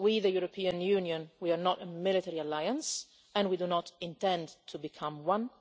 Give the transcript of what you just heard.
we, the European Union, are not a military alliance, and we do not intend to become one.